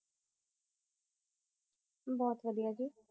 ਬੋਹਤ ਵਾਦਿਯ ਜੀ